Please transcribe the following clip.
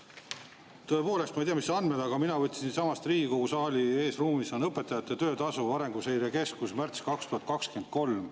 Tõepoolest, ma ei tea, mis andmed, aga mina võtsin siitsamast Riigikogu saali eesruumist Arenguseire Keskuse õpetajate töötasu kohta, märts 2023.